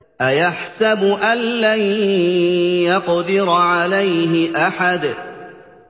أَيَحْسَبُ أَن لَّن يَقْدِرَ عَلَيْهِ أَحَدٌ